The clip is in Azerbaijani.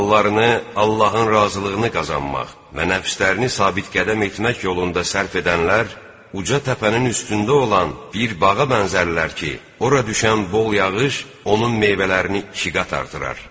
Mallarını Allahın razılığını qazanmaq və nəfslərini sabit qədəm etmək yolunda sərf edənlər uca təpənin üstündə olan bir bağa bənzərlər ki, ora düşən bol yağış onun meyvələrini ikiqat artırar.